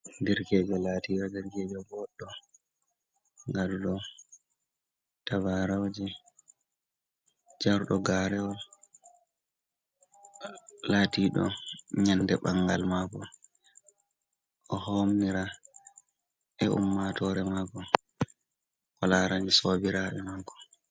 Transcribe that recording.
Ɗerkejo latira ɗerkejo boɗɗo gadudo tabarauje jardo garewol latiɗo nyande ɓangal mako o ɗo homnira be ummatore mako o larai sobirabe mako.